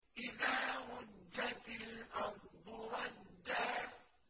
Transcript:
إِذَا رُجَّتِ الْأَرْضُ رَجًّا